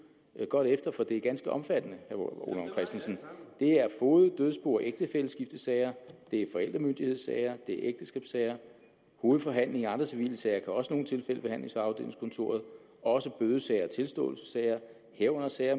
godt efter for det er ganske omfattende ole vagn christensen er foged dødsbo og ægtefælleskiftesager det er forældremyndighedssager det er ægteskabssager hovedforhandlingen i andre civile sager kan også i nogle tilfælde behandles ved afdelingskontoret også bødesager og tilståelsessager herunder sager